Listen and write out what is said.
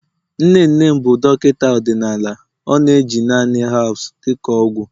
nne nne m bụ Dọkịta ọdịnala ọ na-eji naanị herbs dị ka ọgwụ